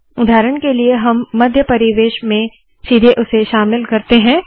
उदाहरण के लिए हम मध्य परिवेश में सीधे उसे शामिल करते है